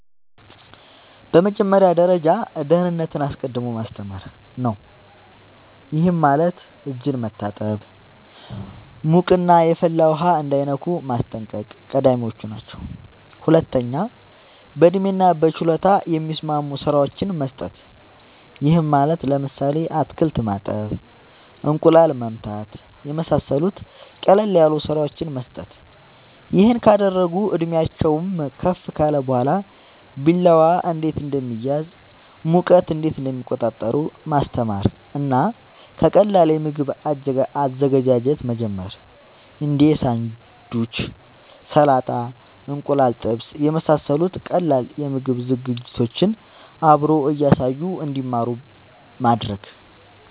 በመጀመሪያ ደረጃ ደህንነትን አስቀድሞ ማስተማር ነዉ ይሄም ማለት እጅን መታጠብ ሙቅና የፈላ ውሃ እንዳይነኩ ማስጠንቀቅ ቀዳሚወች ናቸው ሁለተኛ በእድሜና በችሎታ የሚስማሙ ስራወችን መስጠት ይሄም ማለት ለምሳሌ አትክልት ማጠብ እንቁላል መምታት የመሳሰሉት ቀለል ያሉ ስራወችን መስጠት ይሄን ካደረጉ እድሜአቸውም ከፍ ካለ በኋላ ቢላዋ እንዴት እንደሚያዝ ሙቀት እንዴት እንደሚቆጣጠሩ ማስተማር እና ከቀላል የምግብ አዘገጃጀት መጀመር እንዴ ሳንዱች ሰላጣ እንቁላል ጥብስ የመሳሰሉት ቀላል የምግብ ዝግጅቶችን አብሮ እያሳዩ እንድማሩ ማድረግ